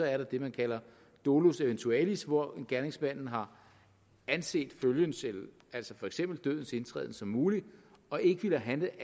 er der det man kalder dolus eventualis hvor gerningsmanden har anset følgen altså for eksempel dødens indtræden som mulig og ikke ville have